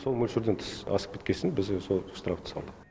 сол мөлшерден тыс асып кеткесін біз де сол штрафты салдық